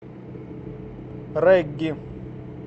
регги